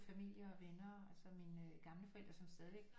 Familie og venner altså mine gamle forældre som stadigvæk